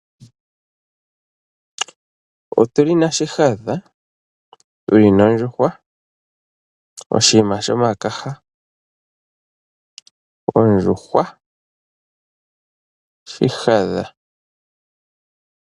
Otuli na shihadha tuli nondjuhwa oshinima sho makaha ondjuhwa. Ondjuhwa shihadha.